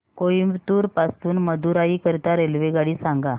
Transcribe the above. कोइंबतूर पासून मदुराई करीता रेल्वेगाडी सांगा